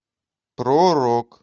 про рок